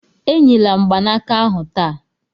Enyila mgbanaka ahu taa